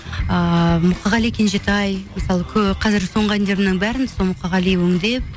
ыыы мұқағали кенжетай мысалы қазір соңғы әндерімнің бәрін сол мұқағали өңдеп